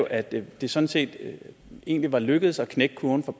at det det sådan set egentlig var lykkedes at knække kurven for